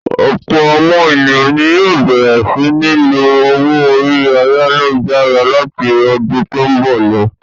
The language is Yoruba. Ọ̀pọ̀ àwọn ènìyàn ni yóò bẹ̀rẹ̀ sí ní lo owó orí ayálujára láti ọdún tó ń bọ̀ lọ.